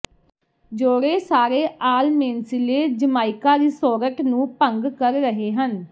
ਜੋੜੇ ਸਾਰੇ ਆਲਮੇਂਸਿਲੇ ਜਮਾਇਕਾ ਰਿਸੋਰਟ ਨੂੰ ਭੰਗ ਕਰ ਰਹੇ ਹਨ